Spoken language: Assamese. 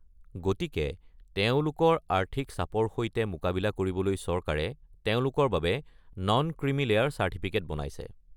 গতিকে তেওঁলোকৰ আৰ্থিক চাপৰ সৈতে মোকাবিলা কৰিবলৈ চৰকাৰে তেওঁলোকৰ বাবে নন ক্ৰিমি লেয়াৰ চাৰ্টিফিকেট বনাইছে।